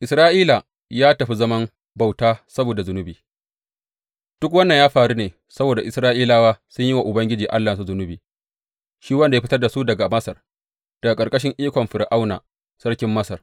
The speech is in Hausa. Isra’ila ya tafi zaman bauta saboda zunubi Duk wannan ya faru ne saboda Isra’ilawa sun yi wa Ubangiji Allahnsu zunubi, shi wanda ya fitar da su daga Masar daga ƙarƙashin ikon Fir’auna sarkin Masar.